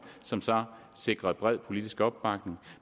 som så sikrede bred politisk opbakning